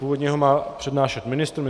Původně ho má přednášet ministr.